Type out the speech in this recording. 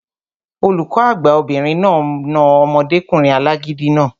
Olùkọ́ àgbà obìnrin náà na omọdékùnrin alágídí náà